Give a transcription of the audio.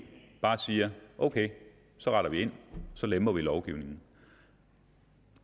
bare siger ok så retter vi ind så lemper vi lovgivningen